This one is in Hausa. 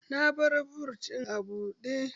Na bar but ɗin a buɗe